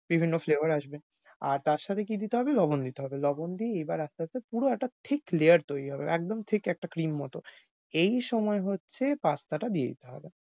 বিভিন্ন flavour আসবে। আর তার সাথে কী দিতে হবে লবণ দিতে হবে। লবণ দিয়ে এবার আস্তে আস্তে পুরো একটা thick layer তৈরী হবে, একদম thick একটা cream মত। এই সময় হচ্ছে pasta টা দিয়ে দিতে হবে।